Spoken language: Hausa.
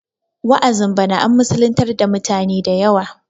wa'azin bana an musulintar dautane da yawa